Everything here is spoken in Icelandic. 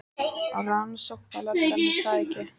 Rannsóknarlögreglan, er það ekki?